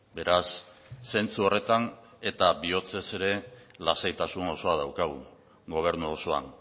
beraz sentsu horretan eta bihotzez ere lasaitasun osoa daukagu gobernu osoan